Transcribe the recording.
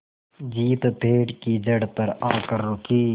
jeep पेड़ की जड़ पर आकर रुकी